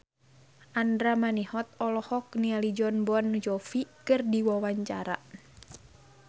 Andra Manihot olohok ningali Jon Bon Jovi keur diwawancara